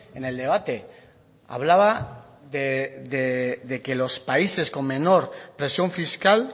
en el debate hablaba de que los países con menor presión fiscal